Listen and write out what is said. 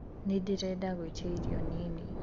nĩndĩrenda gũĩtĩa ĩrĩo nini